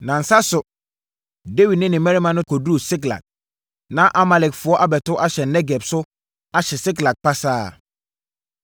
Nnansa so, Dawid ne ne mmarima kɔduruu Siklag. Na Amalekfoɔ abɛto ahyɛ Negeb so ahye Siklag pasaa.